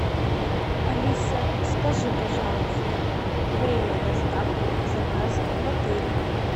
алиса скажи пожалуйста время доставки заказа в отеле